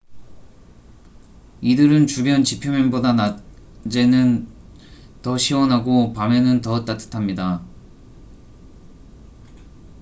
"""이들은 주변 지표면보다 낮에는 더 시원하고 밤에는 더 따듯합니다.